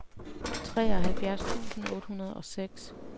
treoghalvfjerds tusind otte hundrede og seks